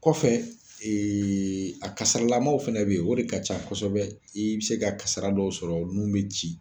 Kɔfɛ, ee a kasaralamanw fana be yen o de ka ca kɔsɔbɛ. I be se ka kasira dɔw sɔrɔ nun be ci.